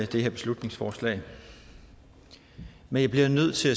det her beslutningsforslag men jeg bliver nødt til